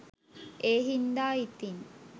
ඒ හින්දා ඉතින්